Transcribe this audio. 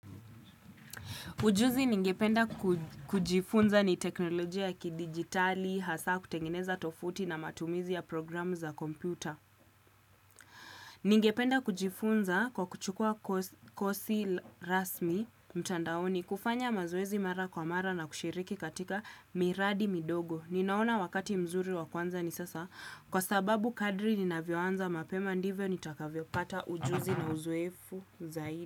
Ujuzi ningependa kujifunza ni teknolojia ya kidigitali, hasa kutengeneza tofuti na matumizi ya programu za kompyuta. Ningependa kujifunza kwa kuchukua kosi rasmi mtandaoni kufanya mazowezi mara kwa mara na kushiriki katika miradi midogo. Ninaona wakati mzuri wa kwanza ni sasa kwa sababu kadri ninavyoanza mapema ndivyo nitakavyo pata ujuzi na uzoefu zaidi.